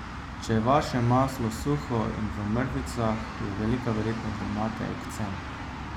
Če je vaše maslo suho in v mrvicah, je velika verjetnost, da imate ekcem.